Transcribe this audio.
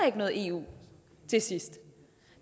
ikke noget eu til sidst